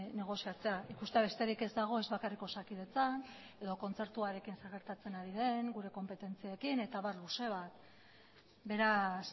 negoziatzea ikustea besterik ez dago ez bakarrik osakidetzan edo kontzertuarekin zer gertatzen ari den gure konpetentziekin eta abar luze bat beraz